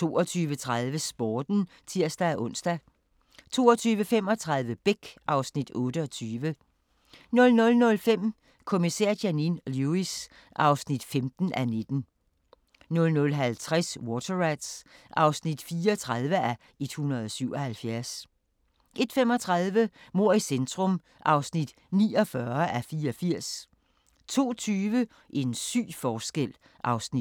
22:30: Sporten (tir-ons) 22:35: Beck (Afs. 28) 00:05: Kommissær Janine Lewis (15:19) 00:50: Water Rats (34:177) 01:35: Mord i centrum (49:84) 02:20: En syg forskel (Afs. 2)